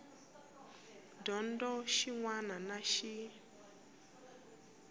dyondzo xin wana na xin